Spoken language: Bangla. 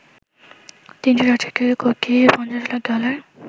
৩৬৭ কোটি ৫০ লাখ ডলার